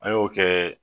An y'o kɛ